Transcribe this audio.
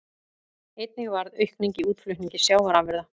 Einnig varð aukning í útflutningi sjávarafurða